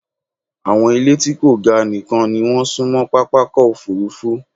Àwọn ìlé tí kò ga nìkan ni wọ́n súnmọ́ pápákọ̀-òfurufú.